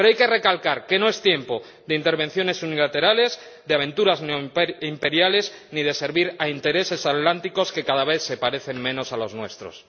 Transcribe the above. Pero hay que recalcar que no es tiempo de intervenciones unilaterales, de aventuras neoimperiales, ni de servir a intereses atlánticos que cada vez se parecen menos a los nuestros.